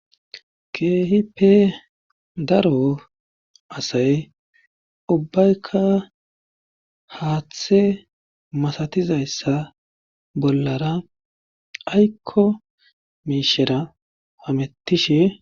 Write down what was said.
Keehippe daro asay ubbayka haathe masatizayssa bollara aykko miishera hamettishe.